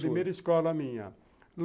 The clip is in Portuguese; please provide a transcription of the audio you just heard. Primeira escola minha.